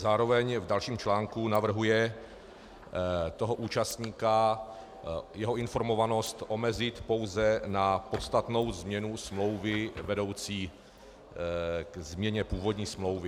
Zároveň v dalším článku navrhuje toho účastníka, jeho informovanost, omezit pouze na podstatnou změnu smlouvy vedoucí ke změně původní smlouvy.